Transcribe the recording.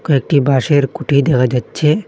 কয়েকটি বাঁশের খুটি দেখা যাচ্ছে।